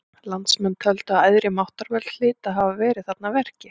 Landsmenn töldu að æðri máttarvöld hlytu að hafa verið þarna að verki.